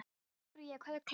Bría, hvað er klukkan?